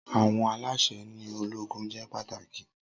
Awọn alaṣẹ ni ologun jẹ pataki.